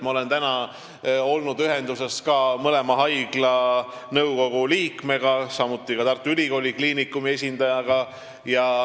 Ma olen täna olnud ühenduses mõlema haigla nõukogu liikmega, samuti Tartu Ülikooli Kliinikumi esindajaga.